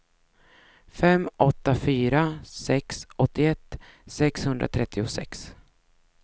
fem åtta fyra sex åttioett sexhundratrettiosex